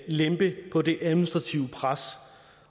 lempe på det administrative pres